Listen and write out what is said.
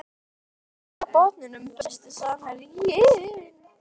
Lið á botninum Besti samherjinn?